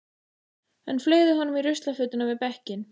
Hann fleygði honum í ruslafötuna við bekkinn.